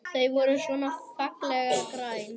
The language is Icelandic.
Þau voru svona fallega græn!